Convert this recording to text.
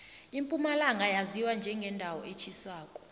impumalanga yaziwa njengendawo etjhisako